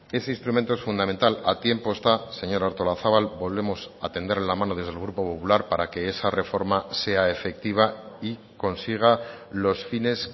ese instrumento es fundamental a tiempo está señora artolazabal volvemos a tenderle la mano desde el grupo popular para que esa reforma sea efectiva y consiga los fines